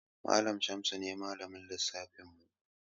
Malamin Shamsu ne Malamin lissafinmu.